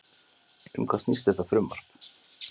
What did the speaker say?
Um hvað snýst þetta frumvarp?